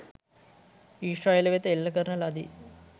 ඊශ්‍රායලය වෙත එල්ල කරන ලදී